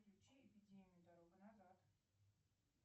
включи эпидемию дорога назад